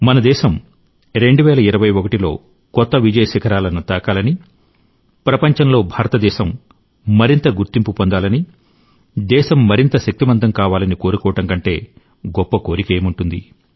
మన దేశం 2021 లో కొత్త విజయ శిఖరాలను తాకాలని ప్రపంచంలో భారతదేశం మరింత గుర్తింపు పొందాలని దేశం మరింత శక్తిమంతం కావాలని కోరుకోవడం కంటే గొప్ప కోరిక ఏముంటుంది